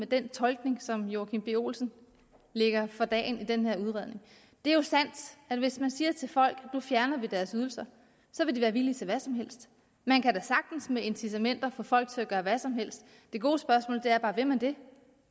den tolkning som herre joachim b olsen lægger for dagen i den her udredning det er jo sandt at hvis man siger til folk at vi nu fjerner deres ydelser så vil de være villige til hvad som helst man kan da sagtens med incitamenter få folk til at gøre hvad som helst det gode spørgsmål er bare vil man det